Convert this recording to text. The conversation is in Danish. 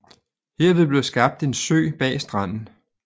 Herved blev skabt en sø bag stranden